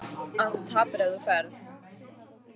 Að þú tapar ef þú ferð.